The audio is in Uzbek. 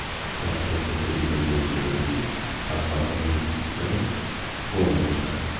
Toshkentda turizm bo‘yicha birinchi xalqaro investitsion forum boshlandi .